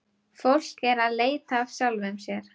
Fólk er að leita að sjálfu sér.